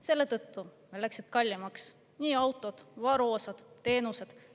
Selle tõttu läksid kallimaks autod, varuosad ja teenused.